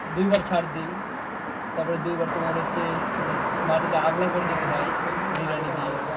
দুইবার সার দেই তারপর দুইবার তোমার হচ্ছে মানে মাটিটা আগলা করে দিতে হয়,